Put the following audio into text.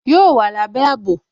Yóò wà lábé àbò